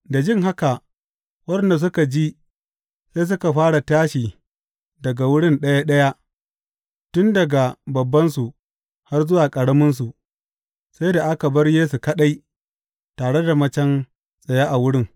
Da jin haka, waɗanda suka ji sai suka fara tashi daga wurin ɗaya ɗaya, tun daga babbansu har ya zuwa ƙaraminsu, sai da aka bar Yesu kaɗai, tare da macen tsaye a wurin.